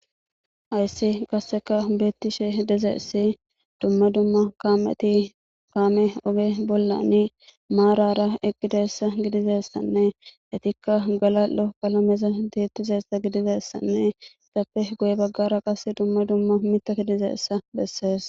Hayisi qasseka beettishe dizayis dumma dumma kamet kame oge bollani maarara eqqidessa gidizessanne etikka galal'o qalameza tiyetidayisa gidizessanne izappe guye baggara qas dumma dumma miththat dizayisa bessees